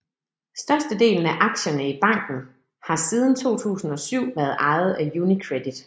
Størstedelen af aktierne i banken har siden 2007 været ejet af UniCredit